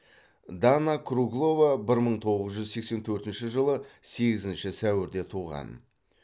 дана круглова бір мың тоғыз жүз сексен төртінші жылы сегізінші сәуірде туған